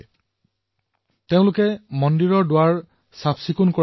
যুৱকসকলে মন্দিৰত দুৱাৰ লগোৱাৰ লগতে বিদ্যুতৰ সংযোগো প্ৰদান কৰিলে